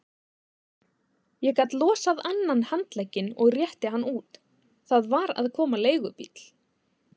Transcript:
Ég gat losað annan handlegginn og rétti hann út, það var að koma leigubíll.